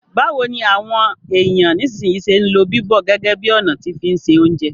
Báwoni àwon èyàn nisínsìnyi se n lo bíbọ̀ gẹ́gẹ́ bi ọ̀nà ti fi n se ounjẹ